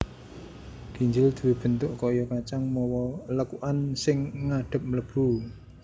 Ginjel duwé bentuk kaya kacang mawa lekukan sing ngadhep mlebu